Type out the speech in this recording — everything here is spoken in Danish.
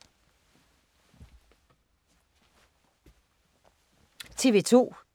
TV 2